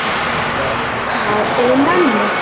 Það lifnaði yfir mömmu.